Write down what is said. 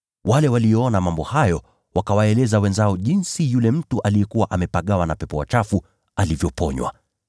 Wale walioyaona mambo hayo wakawaeleza watu wengine jinsi yule mtu aliyekuwa amepagawa na pepo wachafu alivyoponywa.